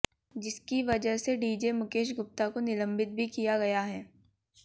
जिसकी वजह से डीजे मुकेश गुप्ता को निलंबित भी किया गया है